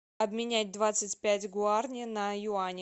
обменять двадцать пять гуарани на юани